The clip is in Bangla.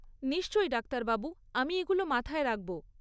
নিশ্চয়ই ডাক্তারবাবু, আমি এগুলো মাথায় রাখব।